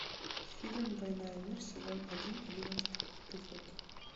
фильм война и мир сезон один одиннадцатый эпизод